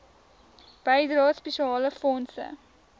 bydrae spesiale fondse